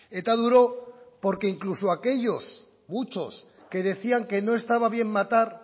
eta duro porque incluso aquellos muchos que decían que no estaba bien matar